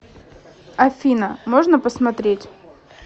афина можно посмотреть